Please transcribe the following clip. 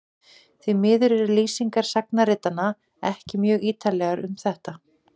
því miður eru lýsingar sagnaritaranna ekki mjög ýtarlegar um þetta